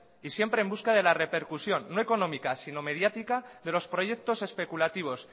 y siempre en busca de la repercusión no económica sino mediática de los proyectos especulativos